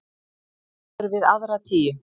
Sá er við aðra tíu.